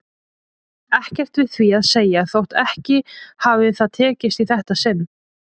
Ekkert við því að segja þótt ekki hafi það tekist í þetta sinn.